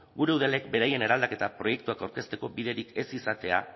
gure udalek beraien eraldaketa proiektuak aurkezteko biderik ez izatea